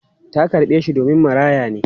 Ta karɓe shi domin maraya ne.